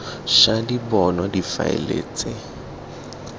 ša di bonwa difaele tse